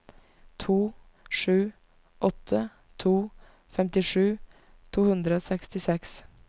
to sju åtte to femtisju to hundre og sekstiseks